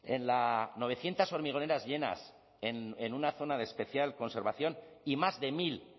en la novecientos hormigoneras llenas en una zona de especial conservación y más de mil